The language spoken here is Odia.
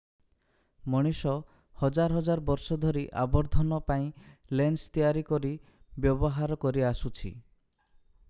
ମଣିଷ ହଜାର ହଜାର ବର୍ଷ ଧରି ଆବର୍ଦ୍ଧନ ପାଇଁ ଲେନ୍ସ ତିଆରି କରି ବ୍ୟବହାର କରି ଆସୁଛି